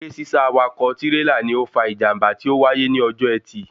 Eré sísá awakọ̀ tírélà ni ó fa ìjàmbá tí ó wáyé ní ọjọ́ ẹtì